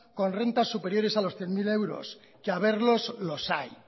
con rentas superiores a los cien mil euros que haberlos los hay